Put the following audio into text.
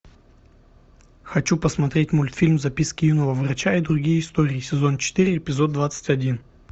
хочу посмотреть мультфильм записки юного врача и другие истории сезон четыре эпизод двадцать один